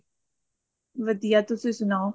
ਵਧੀਆ ਤੁਸੀਂ ਸਨਾਉ